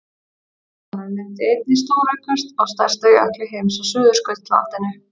bráðnun myndi einnig stóraukast á stærsta jökli heims á suðurskautslandinu